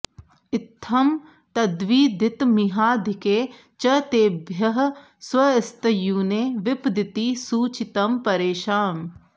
इत्थं तद्विदितमिहाधिके च तेभ्यः स्वस्त्यूने विपदिति सूचितं परेषाम्